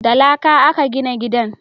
Da laƙa a ka gina gidan